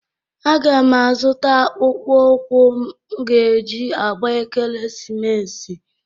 Aga m azụta akpụkpọụkwụ m ga-e ji agba ekeresimesi.